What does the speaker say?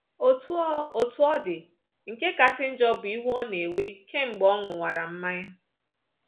Otú ọ Otú ọ dị, nke kasị njọ bụ iwe ọ na-ewe kemgbe ọ ṅụwara mmanya.